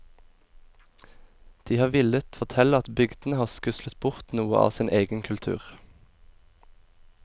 De har villet fortelle at bygdene har skuslet bort noe av sin egen kultur.